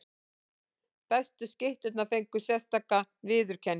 Bestu skytturnar fengu sérstaka viðurkenningu.